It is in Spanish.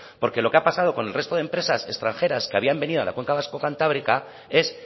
porque lo que ha pasado con el resto de empresas extranjeras que habían venido a la cuenca vasco cantábrica es